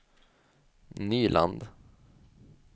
Nyland